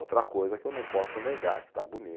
Outra coisa que eu não posso negar, que está